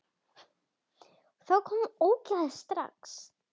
Þá koma ógeðin strax.